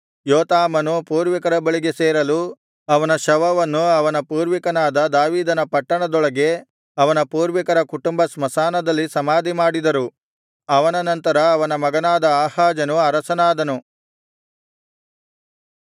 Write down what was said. ಯೋತಾಮನು ಪೂರ್ವಿಕರ ಬಳಿಗೆ ಸೇರಲು ಅವನ ಶವವನ್ನು ಅವನ ಪೂರ್ವಿಕನಾದ ದಾವೀದನ ಪಟ್ಟಣದೊಳಗೆ ಅವನ ಪೂರ್ವಿಕರ ಕುಟುಂಬ ಸ್ಮಶಾನದಲ್ಲಿ ಸಮಾಧಿಮಾಡಿದರು ಅವನ ನಂತರ ಅವನ ಮಗನಾದ ಆಹಾಜನು ಅರಸನಾದನು